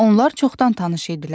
Onlar çoxdan tanış idilər.